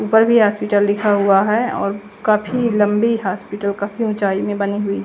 ऊपर भी हॉस्पिटल लिखा हुआ है और काफी लंबी हॉस्पिटल काफि ऊंचाई में बनी हुई--